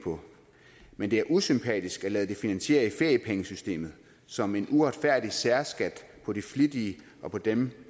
på men det er usympatisk at lade det finansiere i feriepengesystemet som en uretfærdig særskat på de flittige og på dem